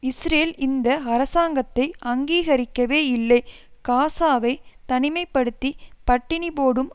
Israel இந்த அரசாங்கத்தை அங்கீகரிக்கவே இல்லை காசாவை தனிமை படுத்தி பட்டினிபோடும்